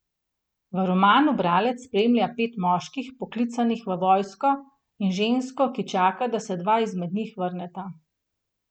V romanu bralec spremlja pet moških, poklicanih v vojsko, in žensko, ki čaka, da se dva izmed njih vrneta.